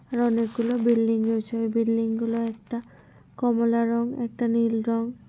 অনেকগুলো বিল্ডিং রয়েছে ওই বিল্ডিং গুলো একটা কমলা রঙ একটা নীল রঙ।